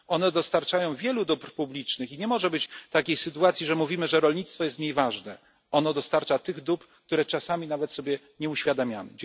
One dostarczają wielu dóbr publicznych i nie może być takiej sytuacji, że mówimy, że rolnictwo jest mniej ważne, ono dostarcza tych dóbr, których czasami nawet sobie nie uświadamiamy.